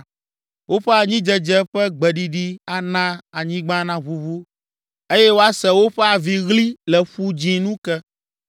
Woƒe anyidzedze ƒe gbeɖiɖi ana anyigba naʋuʋu; eye woase woƒe aviɣli le Ƒu Dzĩ nu ke.